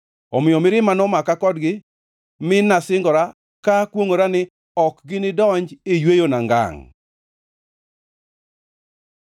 Omiyo mirima nomaka kodgi mi nasingora ka akwongʼora ni, “Ok ginidonji e yweyona ngangʼ.”